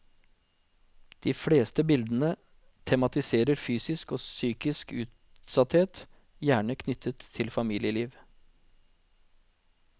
De fleste bildene tematiserer fysisk og psykisk utsatthet, gjerne knyttet til familieliv.